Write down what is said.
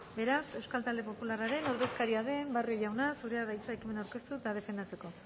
beraz euskal talde popularraren ordezkaria den barrio jauna zurea da hitza ekimena aurkeztu eta defendatzeko